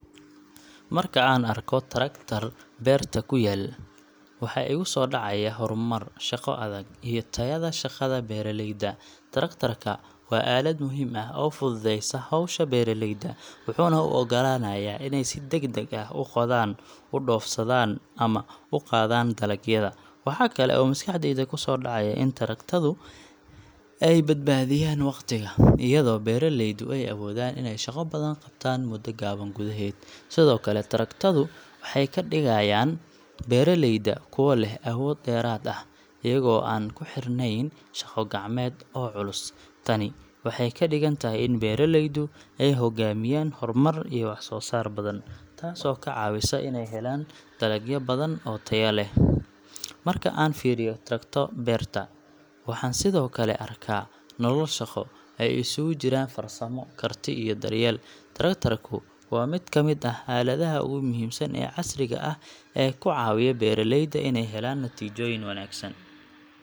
Marka aan arko traktor beerta ku yaal, waxa igu soo dhacaya horumar, shaqo adag, iyo tayada shaqada beeraleyda. Traktorka waa aalad muhiim ah oo fududeysa hawsha beeraleyda, wuxuuna u oggolaanayaa inay si degdeg ah u qodaan, u dhoofsadaan, ama u qaadaan dalagyada. Waxa kale oo maskaxdayda ku soo dhacaya in traktoradu ay badbaadiyaan waqtiga, iyadoo beeraleydu ay awoodaan inay shaqo badan qabtaan muddo gaaban gudaheed. Sidoo kale, traktoradu waxay ka dhigaan beeraleyda kuwo leh awood dheeraad ah, iyaga oo aan ku xirnayn shaqo gacmeed oo culus. Tani waxay ka dhigan tahay in beeraleydu ay hogaamiyaan horumar iyo wax-soo-saar badan, taasoo ka caawisa inay helaan dalagyo badan oo tayo leh. Marka aan fiiriyo traktor beerta, waxaan sidoo kale arkaa nolol shaqo oo ay isugu jiraan farsamo, karti, iyo daryeel. Traktorku waa mid ka mid ah aaladaha ugu muhiimsan ee casriga ah ee ku caawiya beeraleyda inay helaan natiijooyin wanaagsan.